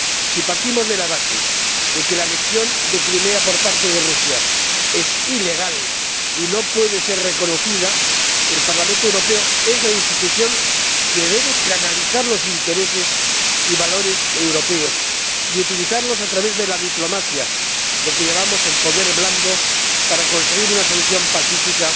Si partimos de la base de que la anexión de Crimea por parte de Rusia es ilegal y no puede ser reconocida, el Parlamento Europeo es la institución que debe canalizar los intereses y valores europeos, y utilizarlos a través de la diplomacia —lo que llamamos el poder blando— para conseguir una solución pacífica